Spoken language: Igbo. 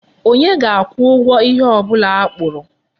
Onye ga-akwụ ụgwọ ihe ọ bụla akpụrụ?